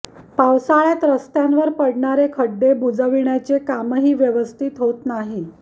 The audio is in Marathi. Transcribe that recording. पावसाळ्यात रस्त्यांवर पडणारे खड्डे बुजविण्याचे कामही व्यवस्थित होत नाही